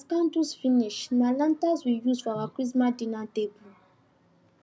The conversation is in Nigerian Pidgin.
as candles finish na lanterns we use for our christmas dinner table